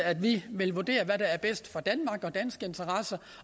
at vi vil vurdere hvad der er bedst for danmark og danske interesser